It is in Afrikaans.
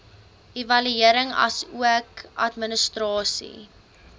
evaluering asook administrasie